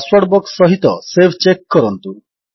password box ସହିତ save check କରନ୍ତୁ